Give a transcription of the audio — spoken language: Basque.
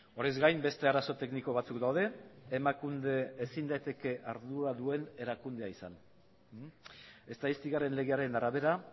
horrez gain beste arazo tekniko batzuk daude emakunde ezin daiteke ardura duen erakundea izan estatistikaren legearen arabera